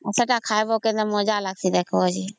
ସେତ ଖାଇବା କେମିତି ମଜା ଲାଗିଁସି ଦେଖିବା